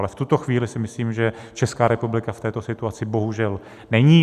Ale v tuto chvíli si myslím, že Česká republika v této situaci bohužel není.